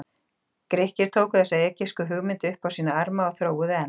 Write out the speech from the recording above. Grikkir tóku þessa egypsku hugmynd upp á sína arma og þróuðu enn.